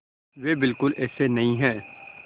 वे बिल्कुल ऐसे नहीं हैं